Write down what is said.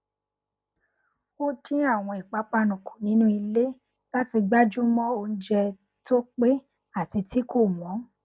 ó dín àwọn ìpàpánu kù nínú ilé láti gbájúmọ oúnjẹ tó pé àti tí kò wọn